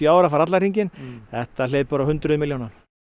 ár að fara allan hringinn þetta hleypur á hundruðum milljóna